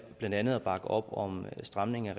blandt andet at bakke op om en stramning af